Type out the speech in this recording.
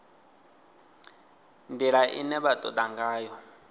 ndila ine vha toda ngayo